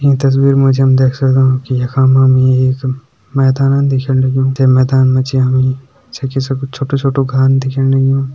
ईं तस्वीर मा जी हम देख सगदों कि यखा मा हमि एक मैदानन दिखेण लग्युं तै मैदान मा जी छकि सा कुछ छोटु-छोटु घान दिखेण लग्युं।